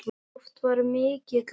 Oft var mikið gaman.